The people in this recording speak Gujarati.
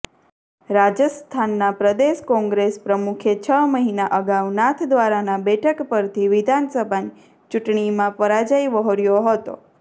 રાજસ્થાનના પ્રદેશ કોંગ્રેસ પ્રમુખે છ મહિના અગાઉ નાથદ્વારાના બેઠક પરથી વિધાનસભાની ચૂટંણીમાં પરાજય વહોર્યો હતો